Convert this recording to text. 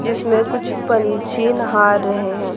जिसमें कुछ पंछी नहा रहे है।